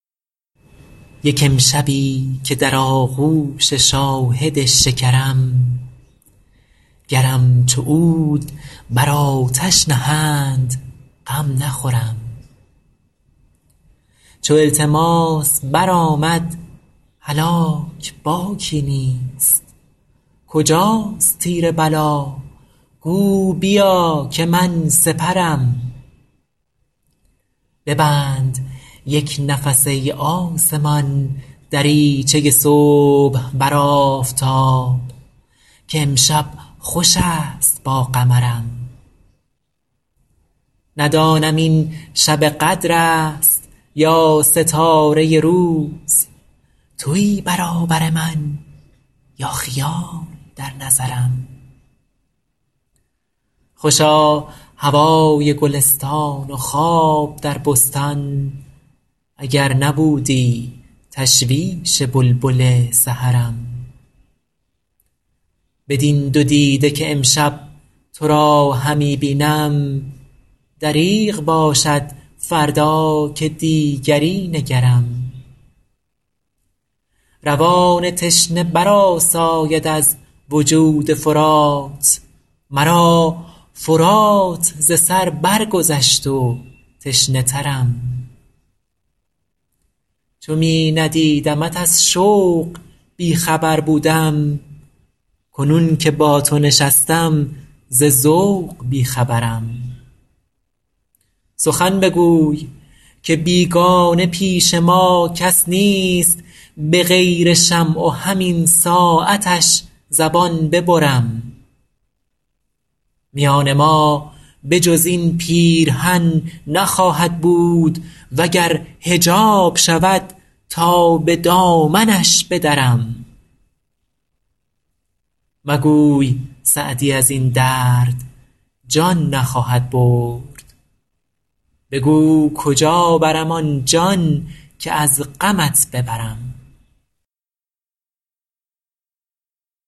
یک امشبی که در آغوش شاهد شکرم گرم چو عود بر آتش نهند غم نخورم چو التماس برآمد هلاک باکی نیست کجاست تیر بلا گو بیا که من سپرم ببند یک نفس ای آسمان دریچه صبح بر آفتاب که امشب خوش است با قمرم ندانم این شب قدر است یا ستاره روز تویی برابر من یا خیال در نظرم خوشا هوای گلستان و خواب در بستان اگر نبودی تشویش بلبل سحرم بدین دو دیده که امشب تو را همی بینم دریغ باشد فردا که دیگری نگرم روان تشنه برآساید از وجود فرات مرا فرات ز سر برگذشت و تشنه ترم چو می ندیدمت از شوق بی خبر بودم کنون که با تو نشستم ز ذوق بی خبرم سخن بگوی که بیگانه پیش ما کس نیست به غیر شمع و همین ساعتش زبان ببرم میان ما به جز این پیرهن نخواهد بود و گر حجاب شود تا به دامنش بدرم مگوی سعدی از این درد جان نخواهد برد بگو کجا برم آن جان که از غمت ببرم